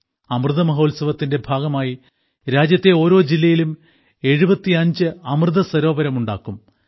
അമൃതമഹോത്സവത്തിന്റെ ഭാഗമായി രാജ്യത്തെ ഓരോ ജില്ലയിലും 75 അമൃതസരോവരം ഉണ്ടാക്കും